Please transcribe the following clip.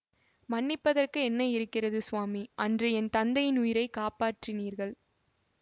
மன்னிப்பதற்கு என்ன இருக்கிறது சுவாமி அன்று என் தந்தையின் உயிரை காப்பாற்றினீர்கள்